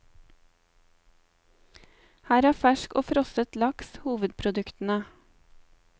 Her er fersk og frosset laks hovedproduktene.